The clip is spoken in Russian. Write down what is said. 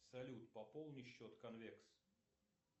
салют пополни счет конвекс